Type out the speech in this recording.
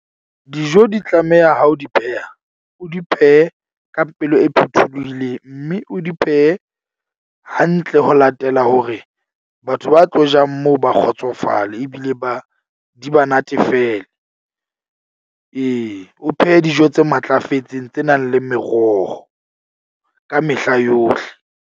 Dijo di tlameha ha o di pheha, o di phehe ka pelo e phuthuluhileng. Mme o di phehe hantle ho latela hore batho ba tlo jang moo ba kgotsofale ebile ba di ba natefele. Ee, o phehe dijo tse matlafetseng tse nang le meroho ka mehla yohle.